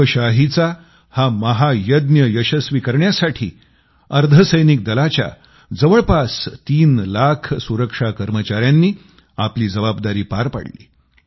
लोकशाहीचा हा महायज्ञ यशस्वी करण्यासाठी अर्धसैनिक दलाच्या जवळपास तीन लाख सुरक्षा कर्मचाऱ्यांनी आपली जबाबदारी पार पाडली